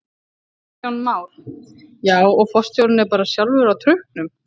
Kristján Már: Já og forstjórinn er bara sjálfur á trukknum?